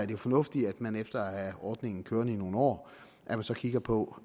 jo fornuftigt at man efter at have ordningen kørende i nogle år så kigger på